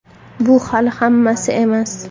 Bu hali hammasi emas.